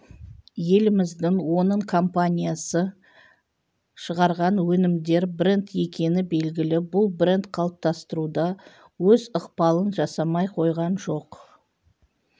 еліміздің оның компаниясы шығарған өнімдер бренд екені белгілі бұл бренд қалыптастыруда өз ықпалын жасамай қойған жоқ